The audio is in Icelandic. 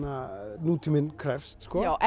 nútíminn krefst